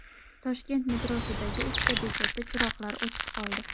Toshkent metrosidagi uchta bekatda chiroqlar o‘chib qoldi.